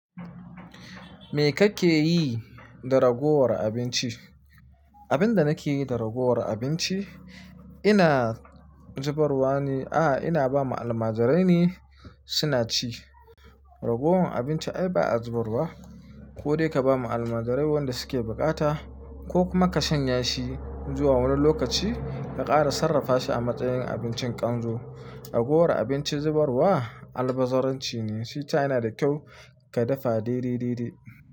Me kake yi da ragowar abinci? Abin da nake yi da ragowar abinci, ina zubarwa ne. A'a, ina ba ma almajirai ne suna ci. Ragowan abinci ai ba a zubar wa, ko dai ka ba ma almajirai wanda suke bukata ko kuma ka shanya shi zuwa wani lokaci ka ƙara sarrafa shi a matsayin abincin kanzo. Ragowar abinci zubarwa albazaranci ne. Shi ta yana da kyau ka dafa dai-dai-dai-dai.